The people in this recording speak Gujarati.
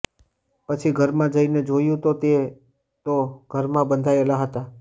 પછી ઘરમાં જઈને જોયું તો તે તો ઘરમાં બંધાયેલા હતા